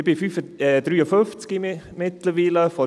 Ich bin mittlerweile 53 Jahre alt.